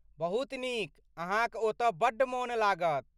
बहुत नीक, अहाँक ओतऽ बड्ड मोन लागत।